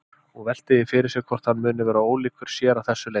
Hún veltir því fyrir sér hvort hann muni vera ólíkur sér að þessu leyti.